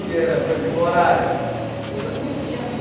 que era, por exemplo, horário coisa não tinha.